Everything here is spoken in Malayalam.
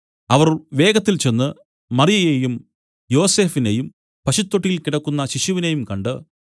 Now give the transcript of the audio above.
അവർ വേഗത്തിൽ ചെന്ന് മറിയയെയും യോസഫിനെയും പശുത്തൊട്ടിയിൽ കിടക്കുന്ന ശിശുവിനെയും കണ്ട്